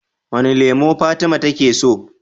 Wane lemo fatima take so?